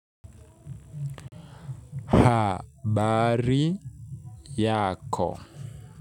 HABARI YAKO.